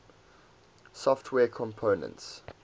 software components